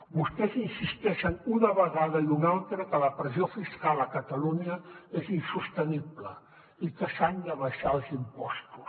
vostès insisteixen una vegada i una altra que la pressió fiscal a catalunya és insostenible i que s’han d’abaixar els impostos